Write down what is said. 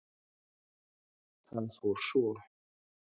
Það fór svo.